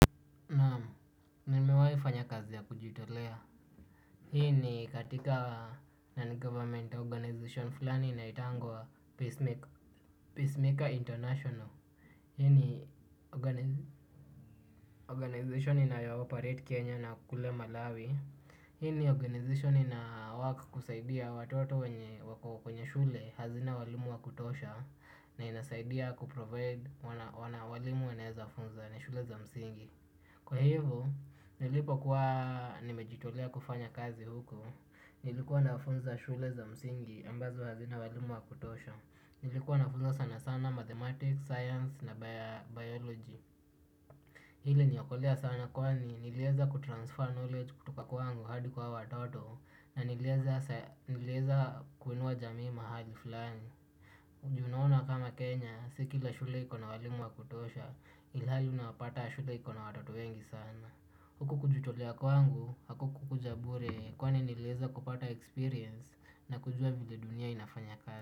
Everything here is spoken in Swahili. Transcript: Nimewai fanya kazi ya kujitolea. Hii ni katika non-government organization fulani inaitangwa Peacemaker International. Hii ni organization inayayo operate Kenya na kule Malawi. Hii ni organization inawork kusaidia watoto wenye wako kwenye shule hazina walimu wakutosha na inasaidia kuprovide walimu wenaweza funzana shule za msingi. Kwa hivyo, nilipo kuwa nimejitolea kufanya kazi huko nilikuwa nafunza shule za msingi ambazo hazina walimu wa kutosha nilikuwa nafunza sana sana mathematics, science na biology hii iliniokolea sana kwani niliweza kutransfer knowledge kutoka kwangu hadi kwa hao watoto na niliweza sai niliweza kuinua jamii mahali fulani unaona kama Kenya sikila shule ikona walimu wa kutosha ilihali unapata shule ikona watoto wengi sana huku kujitolea kwangu. Hakukuja bure kwani niliweza kupata experience na kujua vile dunia inafanya kazi.